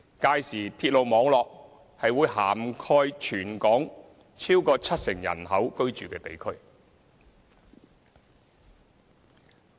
屆時鐵路網絡會涵蓋全港逾七成人口居住的地區。